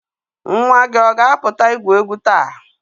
Nwa gị ọ ga-apụta igwu egwu taa?